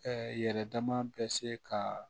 yɛrɛ dama bɛ se ka